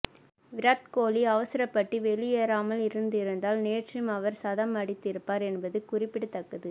விராத் கோஹ்லி அவசரப்பட்டு வெளியேறாமல் இருந்திருந்தால் நேற்றும் அவர் சதமடித்திருப்பார் என்பது குறிப்பிடத்தக்கது